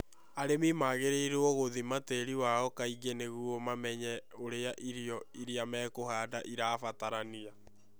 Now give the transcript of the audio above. Arĩmi nĩ magĩrĩirũo gũthima tĩĩri wao kaingĩ nĩguo mamenye ũrĩa irio iria mekũhanda irabatarania.